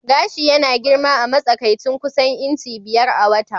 Gashi yana girma a matsakaicin kusan inci biyar a wata.